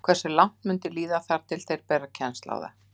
Hversu langt mun líða þar til þeir bera kennsl á það?